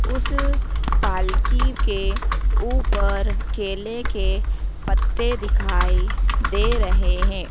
उस पालकी के ऊपर केले के पत्ते दिखाई दे रहे है।